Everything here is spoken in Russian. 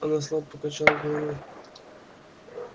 она слабо покачала головой